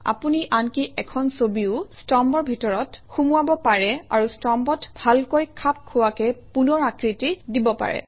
আপুনি আনকি এখন ছবিও স্তম্ভৰ ভিতৰত সুমুৱাব পাৰে আৰু স্তম্ভত ভালকৈ খাপ খোৱাকৈ পুনৰ আকৃতি দিব পাৰে